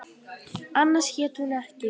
Annars hét hún ekki